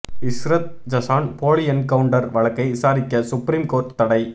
இஷ்ரத் ஜஹான் போலி என்கவுண்டர் வழக்கை விசாரிக்க சுப்ரீம் கோர்ட் தடை